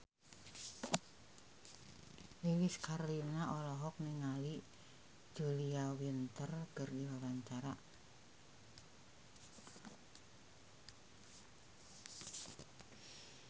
Lilis Karlina olohok ningali Julia Winter keur diwawancara